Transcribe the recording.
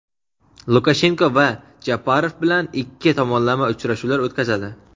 Lukashenko va Japarov bilan ikki tomonlama uchrashuvlar o‘tkazadi.